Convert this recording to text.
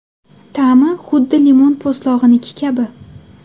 Ta’mi huddi limon po‘stlog‘iniki kabi.